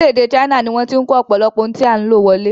Orílẹ̀-èdè China ni wọ́n ti ń kó ọ̀pọ̀lọpọ̀ ohun tí a ń lò wọlé.